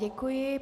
Děkuji.